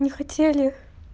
не хотели